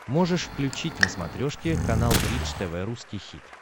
можешь включить на смотрешке канал бридж тв русский хит